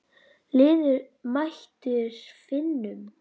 Liðið mætir Finnum.